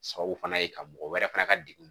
Sababu fana ye ka mɔgɔ wɛrɛ fana ka degun